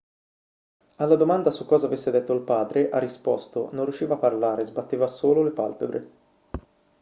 alla domanda su cosa avesse detto il padre ha risposto non riusciva a parlare sbatteva solo le palpebre